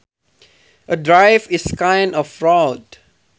A drive is kind of road